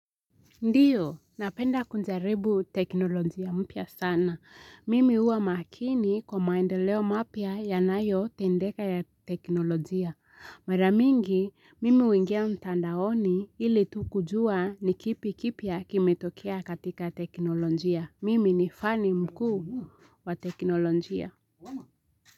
Ndiyo, napenda kujaribu teknolojia mpya sana. Mimi huwa makini kwa maendeleo mapya yanayotendeka ya teknolojia. Mara mingi, mimi huingia mtandaoni ili tu kujua ni kipi kipya kimetokea katika teknolojia. Mimi ni fani mkuu wa teknolojia.